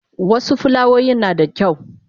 wasu fulawoyin nada kyau